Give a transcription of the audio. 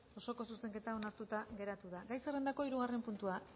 osoko zuzenketa onartua geratzen da gai zerrendako hirugarren puntua